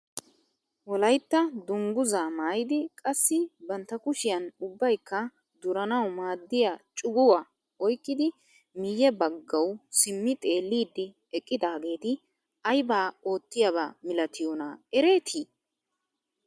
Wolaytta dunguzaa maayidi qassi bantta kushiyaan ubbayikka duranawu maaddiyaa cuguwaa oyqqidi miye baggawu simmi xeellidi eqqidaageti aybaa ottiyaba milatiyoona eretii?